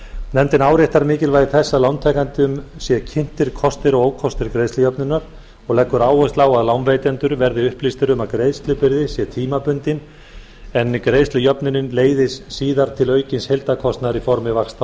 nefndin áréttar mikilvægi þess að lántakendum séu kynntir kostir og ókostir greiðslujöfnunar og leggur áherslu á að lánveitendur verði upplýstir um að greiðslubyrði sé tímabundin en greiðslujöfnunin leiði síðar til aukins heildarkostnaðar í formi vaxta og